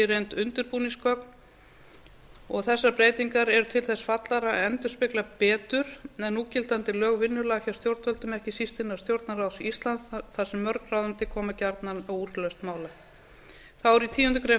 gögn séu í reynd undirbúningsgögn og þessar breytingar eru til þess fallnar að endurspegla betur en núgildandi lög vinnulag hjá stjórnvöldum ekki síst innan stjórnarráðs íslands þar sem mörg ráðuneyti koma gjarnan að úrlausn mála þá er í tíundu greinar